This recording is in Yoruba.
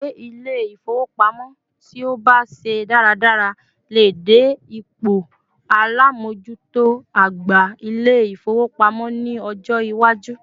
Akowe Ilé-ifowopamo ti o ba se daradara lè dé ipò alamojuto àgbà Ilé-ifowopamo ni ọjọ iwaju